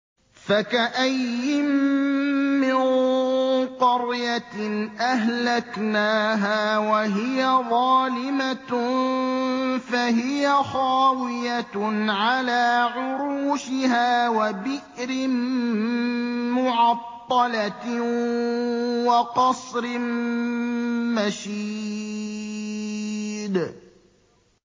فَكَأَيِّن مِّن قَرْيَةٍ أَهْلَكْنَاهَا وَهِيَ ظَالِمَةٌ فَهِيَ خَاوِيَةٌ عَلَىٰ عُرُوشِهَا وَبِئْرٍ مُّعَطَّلَةٍ وَقَصْرٍ مَّشِيدٍ